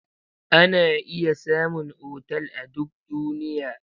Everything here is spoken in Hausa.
Ana iya samun otal a duk duniya.